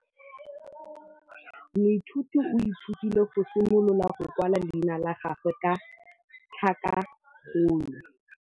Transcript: Moithuti o ithutile go simolola go kwala leina la gagwe ka tlhakakgolo.